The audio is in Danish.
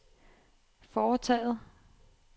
foretaget